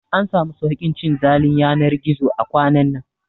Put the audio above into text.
An samu sauƙin cin zalin yanar gizo a kwanan nan